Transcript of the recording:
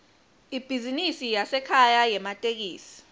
ibhizinisi yasekhaya yematekisi